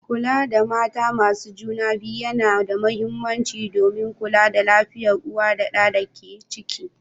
Kula da mata masu juna biyu yana da mahimmanci don kula da lafiyar uwa da ɗan da ke ciki.